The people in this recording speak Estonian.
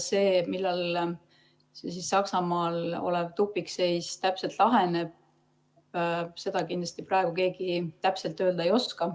Seda, millal see Saksamaal olev tupikseis täpselt laheneb, keegi praegu täpselt kindlasti öelda ei oska.